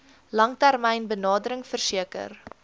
langtermyn benadering verseker